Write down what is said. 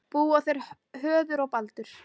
Búa þeir Höður og Baldur